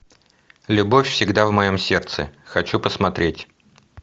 любовь всегда в моем сердце хочу посмотреть